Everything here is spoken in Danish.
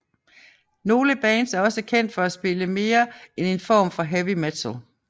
Nogle bands er også kendt for at spille mere end en form for heavy metal